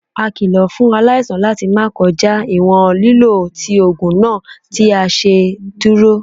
A kilo fun alaisan lati ma kọja iwọn lilo ti oogun naa ti a ṣeduro.